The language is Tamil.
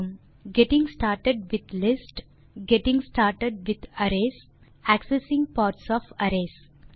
getting started with lists getting started with arrays accessing parts of arrays